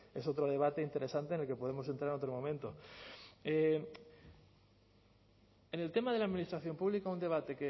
es otro debate interesante en el que podemos entrar en otro momento en el tema de la administración pública un debate